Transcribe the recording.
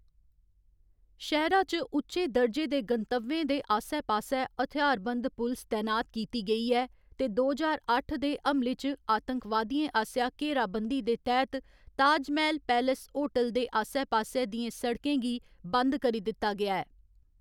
शैह्‌रा च उच्चे दर्जे दे गंतव्यें दे आस्सै पास्सै हथ्यारबंद पुलस तैनात कीती गेई ऐ, ते दो ज्हार अट्ठ दे हमले च अतंकवादियें आसेआ घेराबंदी दे तैह्‌‌‌त ताजमैह्‌‌ल पैलेस होटल दे आस्सै पास्सै दियें सड़कें गी बंद करी दित्ता गेआ ऐ।